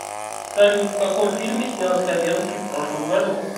салют в каком фильме снялся хабенскии в прошлом году